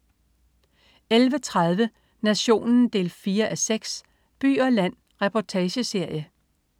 11.30 Nationen 4:6. By og land. Reportageserie